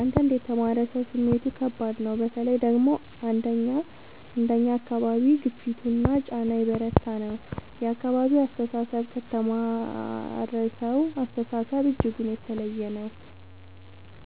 አንዳንድ የተማረ ሰው ስሜቱ ከባድ ነው በተለይ ደግሞ አንደኛ አካባቢ ግፊቱና ጫና የበረታ ነው የአካባቢው አስተሳሰብ ከተማረሳው አስተሳሰብ እጅጉን የተለየ ነው